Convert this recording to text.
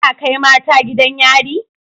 Ana Kai mata gidan yari